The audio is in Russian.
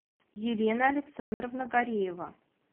елена александровна гареева